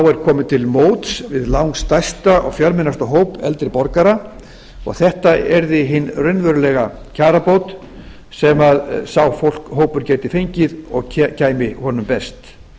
er komið til móts við langstærsta og fjölmennasta hóp eldri borgara og þetta yrði hin raunverulega kjarabót sem sá hópur gæti fengið og kæmi honum best